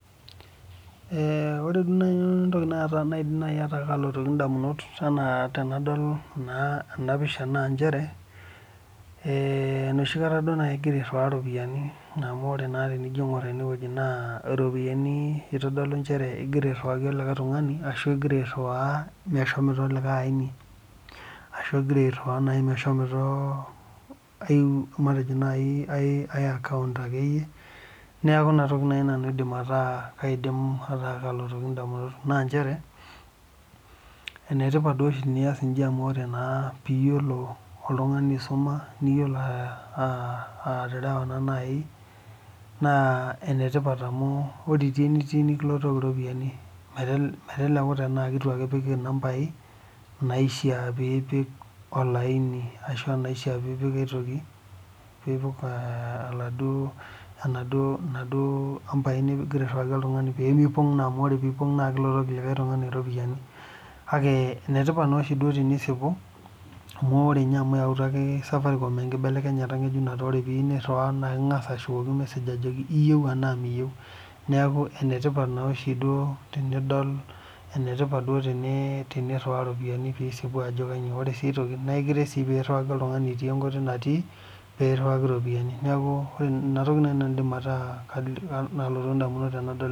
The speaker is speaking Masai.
Ore entoki naidim ayeu edamunot tenadol naa ena pisha naa enoshi kata egira airiwa eropiani amu tenijo aing'or ena wueji na ropiani egira airiwaki likae tung'ani ashu egira airiwa meshomoito likae aini ashu egira airiwa meshomo enkae akaont neeku enatoki naaji nanu aidim ataa kalotu edamunot naa njere enetipat pias eji amu teniyiolo oltung'ani aisuma niyiolo aterewa naa enetipat ore etii enitii nikilotokie eropiani meteleku tenaa keitu epik number naishaa pee epiek olaini ashu naishaa pee epiek aitoki pee epiek ena duo amba nigira airiwaki oladuo tung'ani amu tenipog naa kepongori eropiani kake enetipat oshi tenisipu amu eyautua safaricom enkinelekenyata ng'ejuk neeku ore pii erewa niking'as ashukoki meseg ajoki eyieu tenaa niyieu neeku enetipat duo oshi tenidol enetipat duo oshi pee eriwa eropiani nisipu Ajo kainyio ore sii enkae toki naa ekiret pee eriwaki oltung'ani etii ewueji netii pee iriwaki eropiani neeku ena toki naaji naanu aidim nataa kelotu edamunot tenadol ena